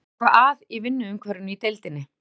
Er eitthvað að í vinnuumhverfinu í deildinni?